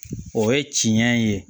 O ye tiɲɛ ye